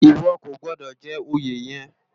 Iwò kó gbòdò jè óyé yèn